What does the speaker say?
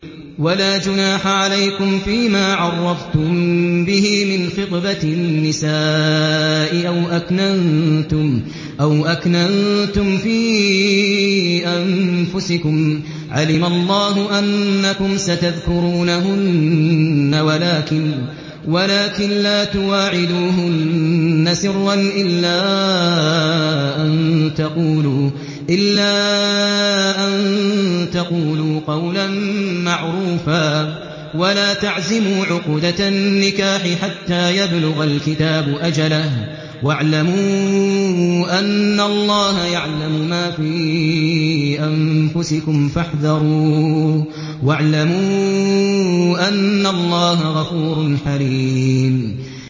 وَلَا جُنَاحَ عَلَيْكُمْ فِيمَا عَرَّضْتُم بِهِ مِنْ خِطْبَةِ النِّسَاءِ أَوْ أَكْنَنتُمْ فِي أَنفُسِكُمْ ۚ عَلِمَ اللَّهُ أَنَّكُمْ سَتَذْكُرُونَهُنَّ وَلَٰكِن لَّا تُوَاعِدُوهُنَّ سِرًّا إِلَّا أَن تَقُولُوا قَوْلًا مَّعْرُوفًا ۚ وَلَا تَعْزِمُوا عُقْدَةَ النِّكَاحِ حَتَّىٰ يَبْلُغَ الْكِتَابُ أَجَلَهُ ۚ وَاعْلَمُوا أَنَّ اللَّهَ يَعْلَمُ مَا فِي أَنفُسِكُمْ فَاحْذَرُوهُ ۚ وَاعْلَمُوا أَنَّ اللَّهَ غَفُورٌ حَلِيمٌ